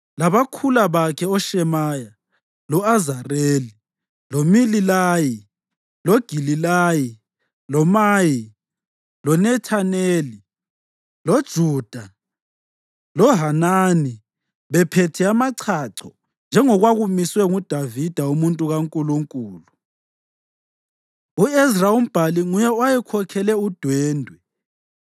labakhula bakhe oShemaya, lo-Azareli, loMilalayi, loGilalayi, loMayi, loNethaneli, loJuda loHanani bephethe amachacho njengokwakumiswe nguDavida umuntu kaNkulunkulu. U-Ezra umbhali nguye owayekhokhele udwendwe.